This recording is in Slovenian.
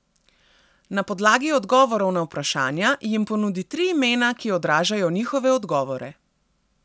Na podlagi odgovorov na vprašanja, jim ponudi tri imena, ki odražajo njihove odgovore.